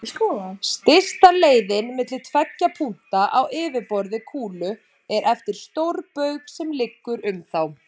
Stysta leiðin milli tveggja punkta á yfirborði kúlu er eftir stórbaug sem liggur um þá.